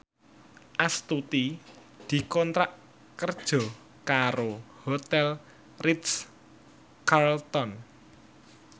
Astuti dikontrak kerja karo Hotel Ritz Carlton